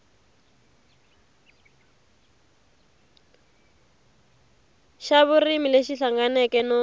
xa vurimi lexi hlanganeke no